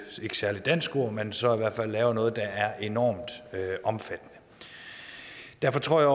ikke særlig dansk ord men så i hvert fald laver noget der er enormt omfattende derfor tror jeg